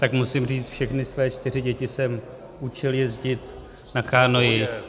Tak musím říct, všechny své čtyři děti jsem učil jezdit na kánoi.